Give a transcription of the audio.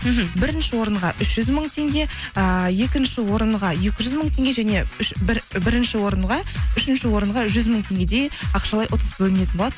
мхм бірінші орынға үш жүз мың теңге ыыы екінші орынға екі жүз мың теңге және үшінші орынға жүз мың теңгедей ақшалай ұтыс бөлінетін болады